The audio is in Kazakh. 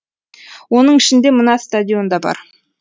оның ішінде мына стадион да бар